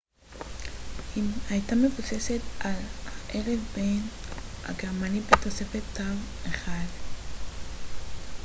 היא הייתה מבוססת על האלף-בית הגרמני בתוספת תו אחד õ / õ